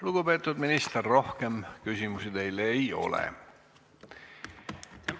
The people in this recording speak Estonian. Lugupeetud minister, rohkem küsimusi teile ei ole.